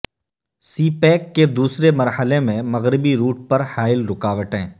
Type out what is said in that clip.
سی pack کے دوسرے مرحلے میں مغربی روٹ پر حائل رکاوٹیں